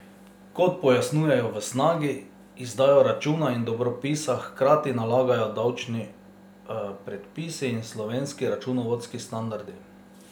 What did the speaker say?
Kot pojasnjujejo v Snagi, izdajo računa in dobropisa hkrati nalagajo davčni predpisi in slovenski računovodski standardi.